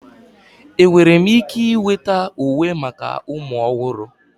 Enwere m ike iweta uwe maka ụmụ ọhụrụ?